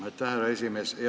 Aitäh, härra esimees!